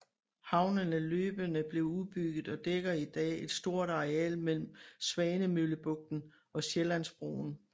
Havnen er løbende blevet udbygget og dækker i dag et stort areal mellem Svanemøllebugten og Sjællandsbroen